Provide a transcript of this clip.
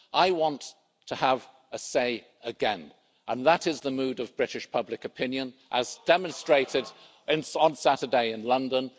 I want to have a say again and that is the mood of British public opinion as demonstrated on Saturday in London.